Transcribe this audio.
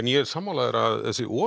ég er sammála þér að þessi